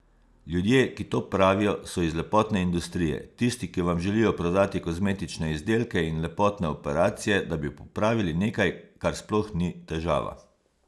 Ljudje, ki to pravijo, so iz lepotne industrije, tisti, ki vam želijo prodati kozmetične izdelke in lepotne operacije, da bi popravili nekaj, kar sploh ni težava.